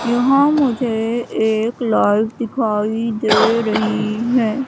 यहां मुझे एक लाइट दिखाई दे रही हैं।